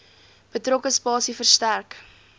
betrokke spasie verstrek